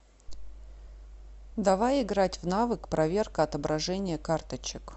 давай играть в навык проверка отображения карточек